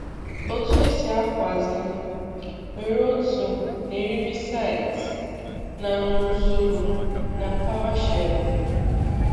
Otu esi akwazi: were otú na eriri site na n'usoro na PowerShell?